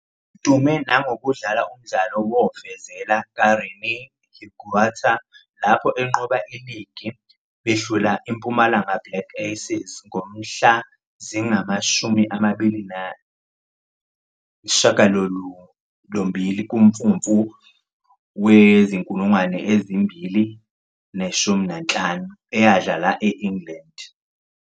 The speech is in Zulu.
Udume nangokudlala umdlalo wofezela kaRené Higuita lapho enqoba iligi behlula iMpumalanga Black Aces ngomhla zingama-28 kuMfumfu wezi-2015, eyadlala e-England.